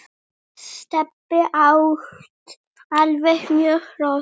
Stebbi átti alltaf mörg hross.